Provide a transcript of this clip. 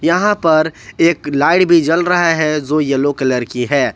यहां पर एक लाइट भी जल रहा है जो येलो कलर की है।